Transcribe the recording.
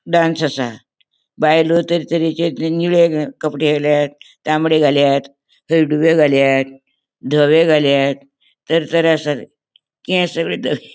डांस असा बायलो तरे तरेचे कपड़े घाल्यात तामड़े घाल्यात हळडुवे घाल्यात दोवे घाल्यात तर तर असात केस --